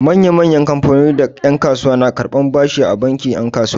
Manya-manyan kamfanoni da yan'kasuwa na karɓan bashi a bankin 'yan kasuwa.